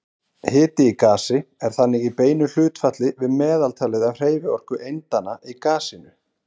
Hiti í gasi er þannig í beinu hlutfalli við meðaltalið af hreyfiorku eindanna í gasinu.